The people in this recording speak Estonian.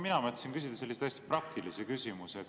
Mina mõtlesin küsida sellise hästi praktilise küsimuse.